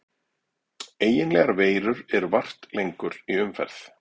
Eiginlegar veirur eru vart lengur í umferð.